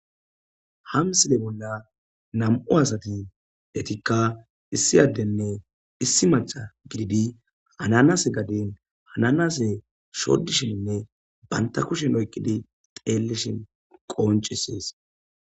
Ha misile bolla nam'u asat etika issi adenne issi maca gidid ananase gaden ananase shodishininne banta kushen oykid xelishn qoncises.